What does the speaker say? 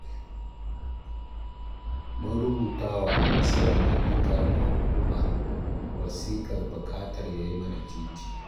Mun rubuta wa Ciyaman ɗin ƙaramar hukuma wasiƙar buƙatar ya yi mana titi